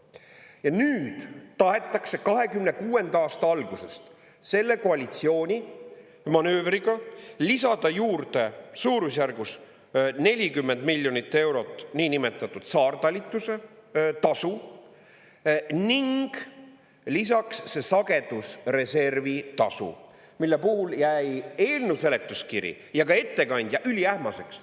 Ja nüüd tahetakse 2026. aasta algusest selle koalitsiooni manöövriga lisada juurde suurusjärgus 40 miljonit eurot niinimetatud saartalitluse tasu ning lisaks see sagedusreservi tasu, mille puhul jäi eelnõu seletuskiri ja ka ettekandja üliähmaseks.